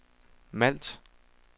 Malt